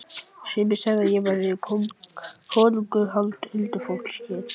Sumir segðu að hér væri konungur huldufólksins.